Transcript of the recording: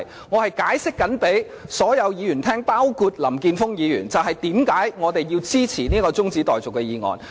我正在向所有議員，包括林健鋒議員，解釋為何我們要支持此項中止待續議案。